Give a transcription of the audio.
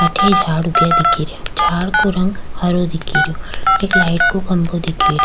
अठ झाड़ ऊगिया दिखे रा झाड़ को रंग हरो दिख रो एक लाइट को खम्बो दिख रो।